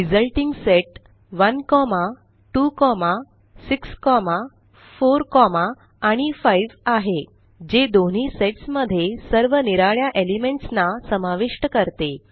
resulting set 1 2 6 4 आणि 5आहे जे दोन्ही सेट्स मध्ये सर्व निराळ्या एलिमेंट्स ना समाविष्ट करते